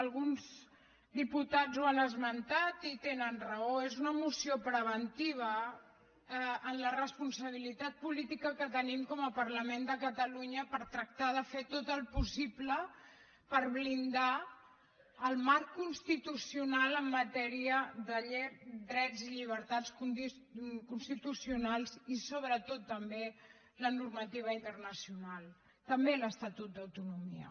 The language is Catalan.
alguns diputats ho han esmentat i tenen raó és una moció preventiva en la responsabilitat política que tenim com a parlament de catalunya per tractar de fer tot el possible per blindar el marc constitucional en matèria de drets i llibertats constitucionals i sobretot també la normativa internacional també l’estatut d’autonomia